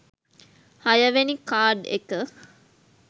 හයවෙනි කාඩ් එක